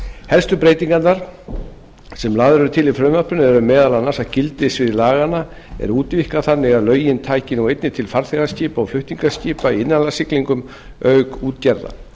helstu breytingarnar sem lagðar eru til í frumvarpinu eru meðal annars að gildissvið laganna er útvíkkað þannig að lögin taka nú einnig til farþegaskipa og flutningaskipa í innanlandssiglingum auk útgerða